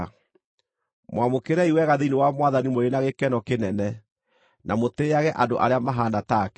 Mwamũkĩrei wega thĩinĩ wa Mwathani mũrĩ na gĩkeno kĩnene, na mũtĩĩage andũ arĩa mahaana take,